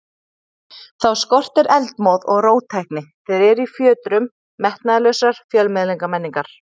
Þá skortir eldmóð og róttækni, þeir eru í fjötrum metnaðarlausrar fjölmiðlamenningar.